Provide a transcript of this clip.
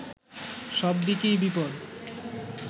সব দিকেই বিপদ